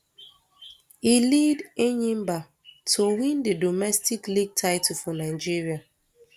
e lead enyimba to win di domestic league title for nigeria